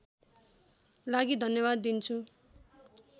लागि धन्यवाद दिन्छु